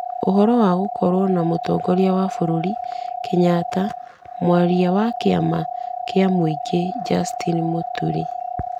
Ũhoro wa gũkorwo na mũtongoria wa bũrũri Kenyatta, mwaria wa kĩama kĩa mũingĩ Justin Mũturi ,